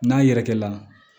N'a yɛrɛkɛ la